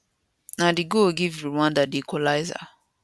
na di goal give rwanda di equaliser